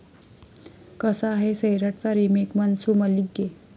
कसा आहे 'सैराट'चा रिमेक 'मनसू मल्लिगे'?